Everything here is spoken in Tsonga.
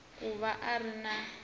ku va a ri na